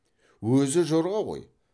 өзі жорға ғой